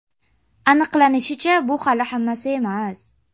Aniqlanishicha, bu hali hammasi emas.